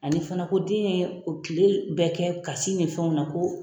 Ani fana ko den ye o tile bɛ kɛ kasi ni fɛnw na ko.